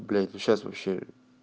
блять ну сейчас вообще